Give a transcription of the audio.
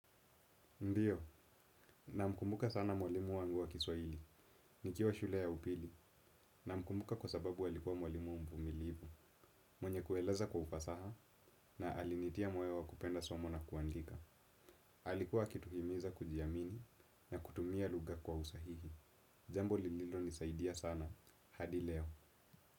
Ndio, namkumbuka sana mwalimu wangu wa Kiswahili, nikiwa shule ya upili, namkumbuka kwa sababu alikuwa mwalimu mvumilivu, mwenye kueleza kwa ufasaha, na alinitia moyo wa kupenda somo na kuandika, alikuwa akituhimiza kujiamini, na kutumia lugha kwa usahihi. Jambo lililo nisaidia sana, hadi leo.